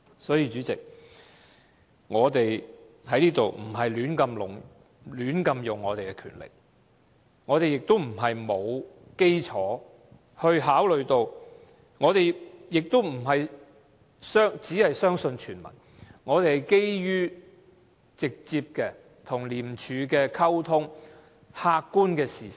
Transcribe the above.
所以，主席，我們並非胡亂使用我們的權力，並非沒有考慮的基礎，也不是只相信傳聞，我們是基於跟廉署直接的溝通，以及客觀的事實。